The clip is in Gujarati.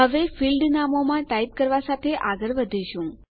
હવે ફીલ્ડ નામોમાં ટાઈપ કરવા સાથે આગળ વધીશું